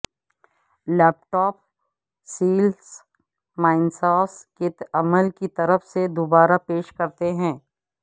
لیپ top cells مائنساسس کے عمل کی طرف سے دوبارہ پیش کرتے ہیں